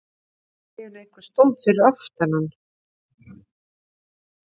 Hann fann allt í einu að einhver stóð fyrir aftan hann.